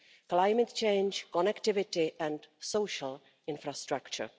climate change, connectivity and social infrastructure.